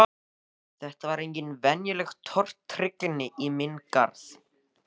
Þetta var engin venjuleg tortryggni í minn garð.